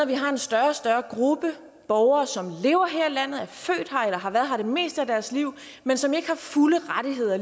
vi har en større og større gruppe borgere som lever her i landet er født her eller har været her det meste af deres liv men som ikke har fulde rettigheder